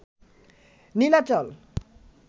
Nilachal